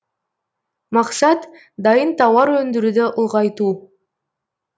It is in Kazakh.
мақсат дайын тауар өндіруді ұлғайту